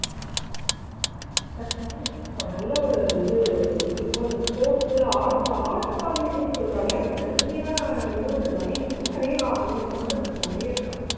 thats nice நல்ல ஒரு இது இருக்கு art art college ன்னு சொல்றாலே அது தனித்தனியா வெறும் drawing மட்டுமா இல்ல நிறைய அதுல சம்மந்தப்பட்டது நிறைய இருக்கா